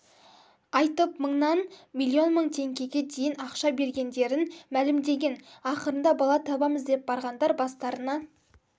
айтып мыңнан миллион мың теңгеге дейін ақша бергендерін мәлімдеген ақырында бала табамыз деп барғандар бастарына